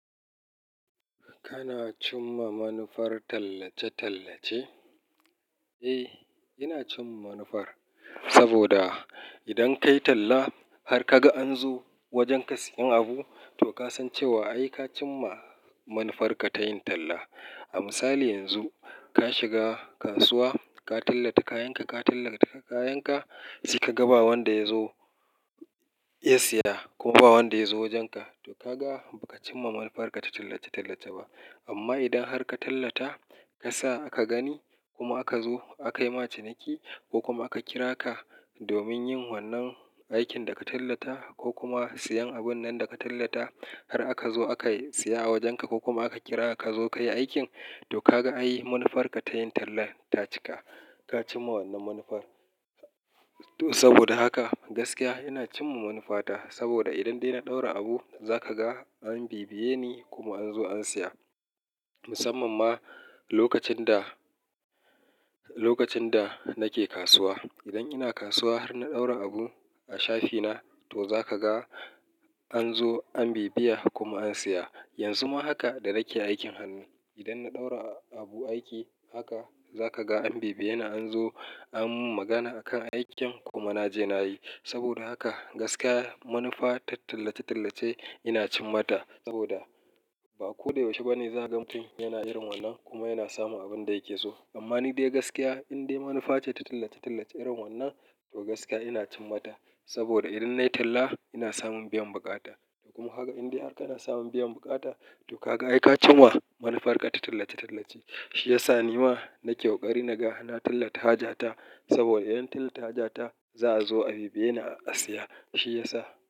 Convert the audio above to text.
Kana cimma manufar tallace-tallace? Eh, ina cimma manufar saboda idan kayi talla har ka ga an zo wajen ka sayen abu, to ka san cewa ai ka cimma manufarka ta yin talla. A misali yanzu ka shiga kasuwa ka tallata kayanka, ka tallata kayanka sai ka ga ba wanda ya zo ya siya kuma ba wanda ya zo wajenka, to ka ga ba ka cimma manufarka ta tallace-tallace ba. Amma idan har ka tallata ka sa aka gani kuma aka zo aka yi ma ciniki ko kuma aka kira ka domin yin wannan aikin da ka tallata ko kuma sayen abun nan da ka tallata har aka zo aka siya a wajenka ko kuma aka kira ka zo ka yi aikin, to ka ga ai manufarka ta yin tallan ta cika. Ka cimma wannan manufar. To saboda haka gaskiya ina cimma manufata saboda idan dai na ɗaura abu za ka ga an bibiye ni kuma an zo an siya. Musamman ma lokacin da, lokacin da nake kasuwa. Idan ina kasuwa har na ɗaura abu a shafi na to za ka ga an zo an bibiya kuma an siya. Yanzu ma haka da nake aikin hannu, idan na ɗaura abu aiki haka za ka ga an bibiye ni an zo an mun magana a kan aikin kuma na je na yi. Saboda haka gaskiya manufa ta tallace-tallace ina cimma ta saboda ba ko da yaushe ba ne za ka ga mutun yana irin wannan kuma yana samun abin da yake so. Amma ni dai gaskiya in dai manufa ce ta tallace-tallace irin wannan to gaskiya ina cimma ta saboda idan nayi talla ina samun biyan buƙata. Kuma kaga in dai har kana samun biyan buƙata to ka ga ai ka cimma manufarka ta tallace-tallace. Shi ya sa ni ma na ke ƙoƙari naga na tallata haja ta saboda idan tallata haja ta za'a zo a bibiye ni a siya. Shi ya sa.